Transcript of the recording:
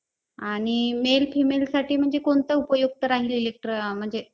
आणि male femaleसाठी कोणतं उपयुक्त राहील म्हणजे